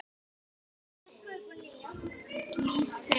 Þar hefur liðið leikið síðan.